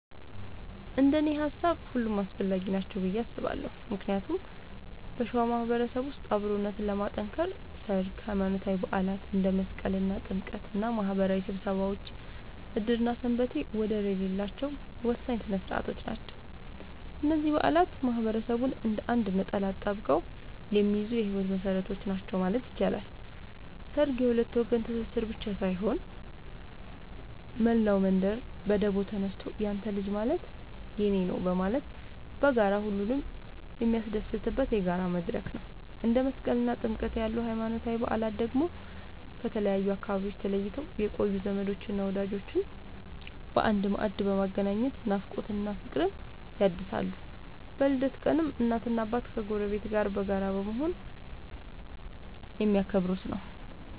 እንደኔ ሃሳብ ሁሉም አስፈላጊ ናቸው ብዬ አስባለሁ ምክንያቱም በሸዋ ማህበረሰብ ውስጥ አብሮነትን ለማጥከር ሠርግ፣ ሃይማኖታዊ በዓላት እንደ መስቀልና ጥምቀት እና ማህበራዊ ስብሰባዎች ዕድርና ሰንበቴ ወደር የሌላቸው ወሳኝ ሥነ ሥርዓቶች ናቸው። እነዚህ በዓላት ማህበረሰቡን እንደ አንድ ነጠላ አካል አጣብቀው የሚይዙ የህይወት መሰረቶች ናቸው ማለት ይቻላል። ሠርግ የሁለት ወገን ትስስር ብቻ ሳይሆን፣ መላው መንደር በደቦ ተነሳስቶ ያንተ ልጅ ማለት የኔ ነዉ በማለት በጋራ ሁሉንም የሚያስደስትበት የጋራ መድረክ ነው። እንደ መስቀልና ጥምቀት ያሉ ሃይማኖታዊ በዓላት ደግሞ ከተለያዩ አካባቢዎች ተለይተው የቆዩ ዘመዶችንና ወዳጆችን በአንድ ማዕድ በማገናኘት ናፍቆትን እና ፍቅርን ያድሳሉ። በልደት ቀንም እናትና አባት ከጎረቤት ጋር በመሆን በጋራ የሚያከብሩት ነዉ።